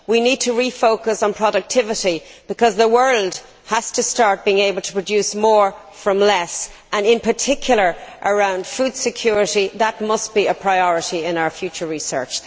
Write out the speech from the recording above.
We need to refocus on productivity because the world has to start being able to produce more from less and in particular around food security that must be a priority in our future research.